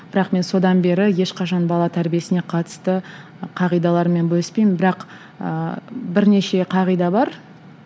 бірақ мен содан бері ешқашан бала тәрбиесіне қатысты қағидалармен бөліспеймін бірақ ыыы бірнеше қағида бар